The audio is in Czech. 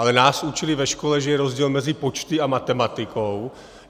Ale nás učili ve škole, že je rozdíl mezi počty a matematikou.